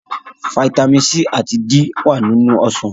Fataímìn C àti D wà nínú ọsàn.